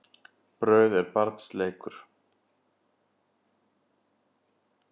Brauð er barns leikur.